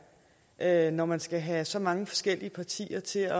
er når man skal have så mange forskellige partier til